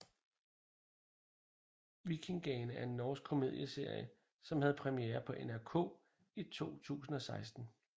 Vikingane er en norsk komedieserie som havde premiere på NRK1 i 2016